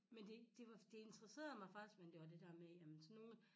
Men det det var det interesserede mig faktisk men det var det dér med jamen så nogen